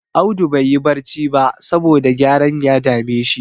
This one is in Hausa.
Audu baiyi barci ba, saboda gyaren ya dame shi.